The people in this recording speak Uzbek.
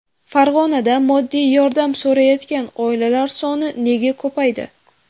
Farg‘onada moddiy yordam so‘rayotgan oilalar soni nega ko‘paydi?.